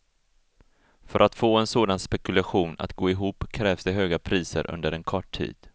För att få en sådan spekulation att gå ihop krävs det höga priser under en kort tid.